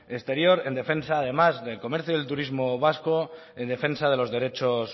exterior en defensa además del comercio y del turismo vasco en defensa de los derechos